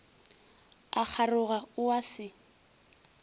a kgaroga o a se